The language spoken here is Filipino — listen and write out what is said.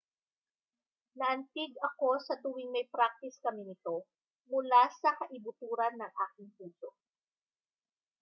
naantig ako sa tuwing may praktis kami nito mula sa kaibuturan ng aking puso